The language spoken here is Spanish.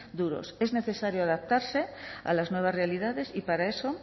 duros es necesario adaptarse a las nuevas realidades y para eso